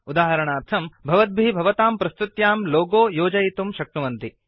उदाहरणार्थम् भवद्भिः भवतां प्रस्तुत्यां लोगो योजयितुं शक्नुवन्ति